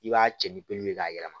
I b'a cɛ ni peluw ye k'a yɛlɛma